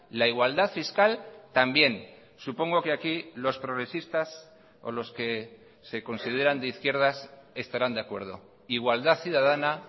la igualdad fiscal también supongo que aquí los progresistas o los que se consideran de izquierdas estarán de acuerdo igualdad ciudadana